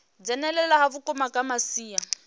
dzhenelela ha vhukuma kha masia